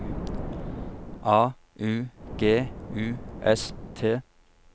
A U G U S T